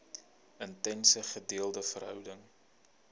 intense gedeelde verhouding